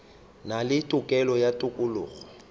na le tokelo ya tokologo